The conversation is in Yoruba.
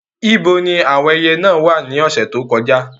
Ibo ni àwọn ẹyẹ náà wà ní ọ̀sẹ̀ tó kọjá?